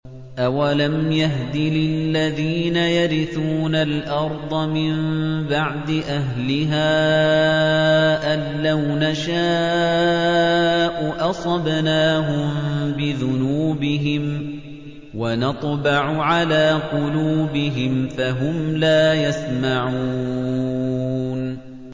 أَوَلَمْ يَهْدِ لِلَّذِينَ يَرِثُونَ الْأَرْضَ مِن بَعْدِ أَهْلِهَا أَن لَّوْ نَشَاءُ أَصَبْنَاهُم بِذُنُوبِهِمْ ۚ وَنَطْبَعُ عَلَىٰ قُلُوبِهِمْ فَهُمْ لَا يَسْمَعُونَ